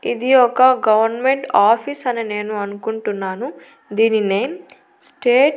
ఇది ఒక government office అని నేను అనుకుంటున్నాను దీని నేమ్ స్టేట్ --